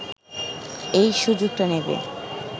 এই সুযোগটা নেবে